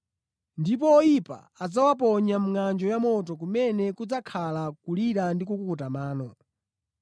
Ndipo oyipa adzawaponya mʼngʼanjo ya moto kumene kudzakhala kulira ndi kukukuta mano.”